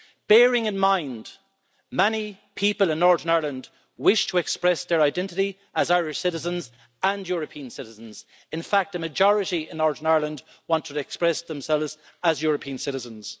Bearing in mind, many people in Northern Ireland wish to express their identity as Irish citizens and European citizens in fact, the majority in Northern Ireland want to express themselves as European citizens.